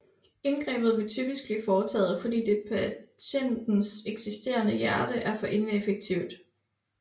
Indgrebet vil typisk blive foretaget fordi det patientens eksisterende hjerte er for ineffektivt